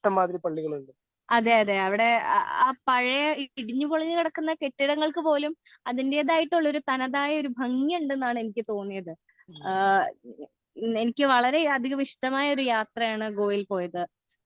ഭക്ഷണവും പിന്നെ ഒരുപാട് പുരാവസ്തു കേന്ദ്രങ്ങളും ഒക്കെ ഉള്ളൊരു സ്ഥലവുമാണല്ലോ അതേ അതേ അതേ അതേ അതേ അവിടെ പഴയ ഇടിഞ്ഞു പൊളിഞ്ഞു കിടക്കുന്ന കെട്ടിടങ്ങൾക്ക് പോലും അതിൻറെതായിട്ടുള്ളൊരു തനതായ ഭംഗി ഉണ്ടെന്നാണ് എനിക്ക് തോന്നിയത് ആ എനിക്ക് വളരെ അതികം ഇഷ്ടമായ ഒരു യാത്രയാണ് ഗോവയിൽ പോയത്